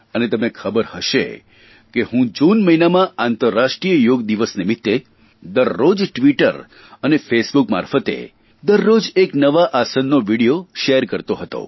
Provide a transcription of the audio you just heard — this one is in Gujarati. અને તમને ખબર હશે કે હું જૂન મહિનામાં આંતરરાષ્ટ્રીય યોગ દિવસ નિમિત્તે દરરોજ ટ્વીટર અને ફેસબુક મારફતે દરરોજ એક નવા આસનનો વિડીયો શેર કરતોબતાવતો હતો